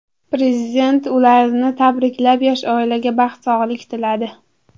Prezident ularni tabriklab, yosh oilaga baxt, sog‘lik tiladi.